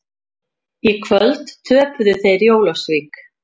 Í kvöld töpuðu þeir í Ólafsvík.